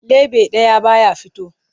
Leɓe ɗaya ba ya fito.